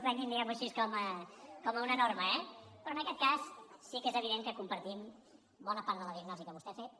prenguin diguemho així com una norma eh però en aquest cas sí que és evident que compartim bona part de la diagnosi que vostè ha fet